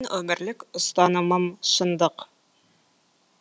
менің өмірлік ұстанымым шындық